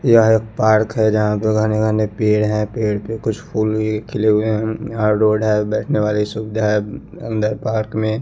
यह एक पार्क है जहाँ पर घने घने पेड़ हैं पेड़ पे कुछ फूल भी खिले हुए हैं अ रोड है बैठने वाली सुविधा है अंदर पार्क में।